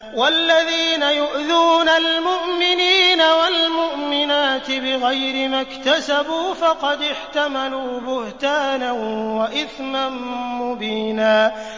وَالَّذِينَ يُؤْذُونَ الْمُؤْمِنِينَ وَالْمُؤْمِنَاتِ بِغَيْرِ مَا اكْتَسَبُوا فَقَدِ احْتَمَلُوا بُهْتَانًا وَإِثْمًا مُّبِينًا